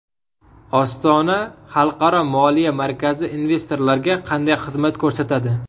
Ostona xalqaro moliya markazi investorlarga qanday xizmat ko‘rsatadi?.